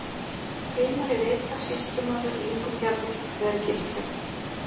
Heimari-Veita, Sýslumaður, Ingutjarnir, Þvergilstjörn